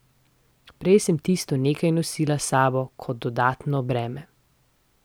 Prej sem tisto nekaj nosila s sabo kot dodatno breme.